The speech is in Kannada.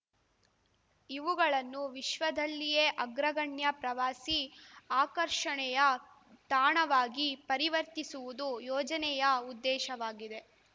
ಇವುಗಳನ್ನು ವಿಶ್ವದಲ್ಲಿಯೇ ಅಗ್ರಗಣ್ಯ ಪ್ರವಾಸಿ ಆಕರ್ಷಣೆಯ ತಾಣವಾಗಿ ಪರಿವರ್ತಿಸುವುದು ಯೋಜನೆಯ ಉದ್ದೇಶವಾಗಿದೆ